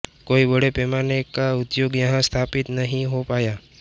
कोई बड़े पैमाने का उद्योग यहां स्थापित नहीं हो पाया